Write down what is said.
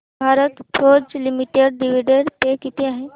Bharat Forge Limited dividend pay किती आहे